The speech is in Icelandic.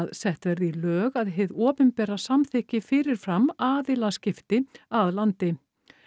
sett verði í lög að hið opinbera samþykki fyrir fram aðilaskipti að landi